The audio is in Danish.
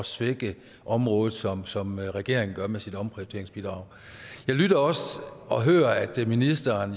svække området som som regeringen gør med sit omprioriteringsbidrag jeg lytter også og hører at ministeren